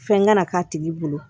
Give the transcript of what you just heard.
Fɛn kana k'a tigi bolo